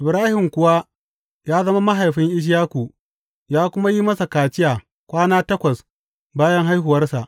Ibrahim kuwa ya zama mahaifin Ishaku ya kuma yi masa kaciya kwana takwas bayan haihuwarsa.